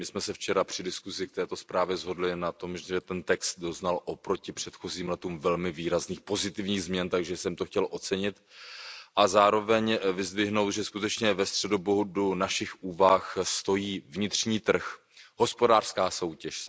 My jsme se včera při diskuzi k této zprávě shodli na tom, že ten text doznal oproti předchozím letům velmi výrazných pozitivních změn, takže jsem to chtěl ocenit a zároveň vyzdvihnout, že skutečně ve středobodu našich úvah stojí vnitřní trh, hospodářská soutěž.